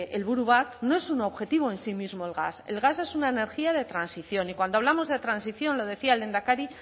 helburua bat no es un objetivo en sí mismo el gas el gas es una energía de transición y cuando hablamos de transición lo decía el lehendakari